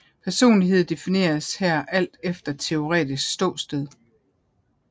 Personlighed defineres her alt efter teoretisk ståsted